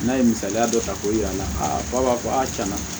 N'a ye misaliya dɔ ta k'o yir'a la a baw b'a fɔ a cɛna